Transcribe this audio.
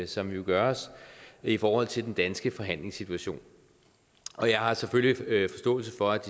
som jo gøres i forhold til den danske forhandlingssituation og jeg har selvfølgelig forståelse for at